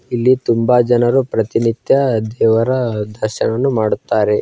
ಇಲ್ಲಿ ತುಂಬಾ ಜನರು ಪ್ರತಿನಿತ್ಯ ದೇವರ ದರ್ಶನವನ್ನು ಮಾಡುತ್ತಾರೆ.